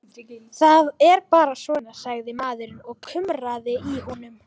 Það er bara svona, sagði maðurinn og kumraði í honum.